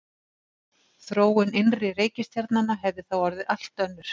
Þróun innri reikistjarnanna hefði þá orðið allt önnur.